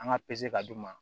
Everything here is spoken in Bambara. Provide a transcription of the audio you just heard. An ka pese ka d'u ma